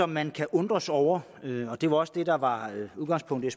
man kan undre sig over og det var også det der var udgangspunktet